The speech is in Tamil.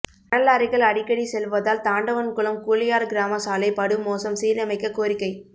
மணல்லாரிகள் அடிக்கடி செல்வதால் தாண்டவன்குளம் கூழையார் கிராம சாலை படுமோசம் சீரமைக்க கோரிக்கை